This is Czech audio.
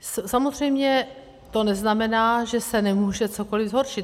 Samozřejmě to neznamená, že se nemůže cokoliv zhoršit.